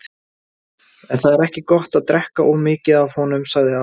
En það er ekki gott að drekka of mikið af honum, sagði afi.